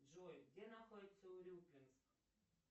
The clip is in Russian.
джой где находится урюпинск